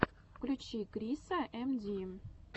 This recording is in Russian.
включи криса эм ди